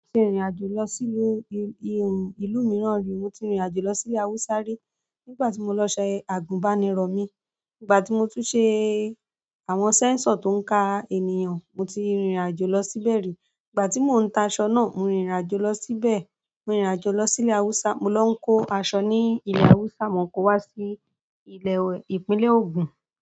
Mo ti rìnrìn àjò lọ sí ìlú mìíràn rí. Mo ti rìnrìn àjò lọ sí ilẹ̀ Haúsá rí nígbà tí mo lọ ṣe àgùnbánirọ̀ mi. Nígbà tí mo tún ṣe àwọn sẹ́ńsọ̀ tó ń ka ènìyàn, mo ti rìnrìn àjò lọ síbẹ̀ rí. Nígbà tí mò ń ta aṣọ náà, mo rìnrìn àjò lọ síbẹ̀. Mo rìnrìn àjò lọ sí ilẹ̀ Haúsá, mo lọ ń kó aṣọ ní ilẹ̀ Haúsá, mo kò wá sí ilẹ̀, Ìpínlẹ̀ Ògùn.